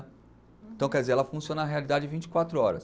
Então, quer dizer, ela funciona a realidade vinte e quatro horas.